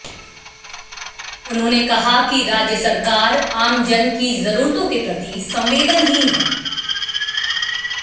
उन्होंने कहा कि राज्य सरकार आम जन की जरूरतों के प्रति संवेदनहीन है